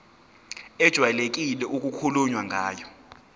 ejwayelekile okukhulunywe ngayo